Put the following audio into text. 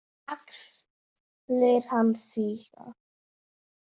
Axlir hans síga.